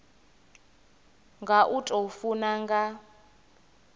nga u tou funa nga